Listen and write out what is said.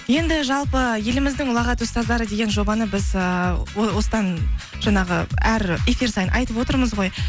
енді жалпы еліміздің ұлағатты ұстаздары деген жобаны біз ыыы осыдан жаңағы әр эфир сайын айтып отырмыз ғой